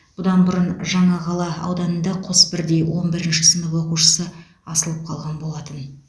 бұдан бұрын жаңақала ауданында қос бірдей он бірінші сынып оқушысы асылып қалған болатын